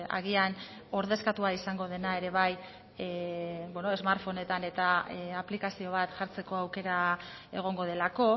agian ordezkatua izango dena ere bai beno smartphonetan eta aplikazio bat jartzeko aukera egongo delako